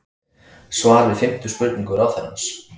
Svar við fimmtu spurningu ráðherrans